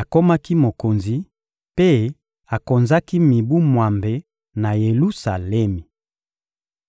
akomaki mokonzi, mpe akonzaki mibu mwambe na Yelusalemi.